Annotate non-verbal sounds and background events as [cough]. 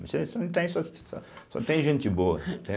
No Itaim você não tem, Itaim só [noise] tem gente boa, entende.